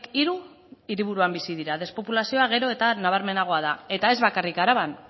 hiru hiriburuan bizi dira despopulazioa gero eta nabarmenagoa da eta ez bakarrik araban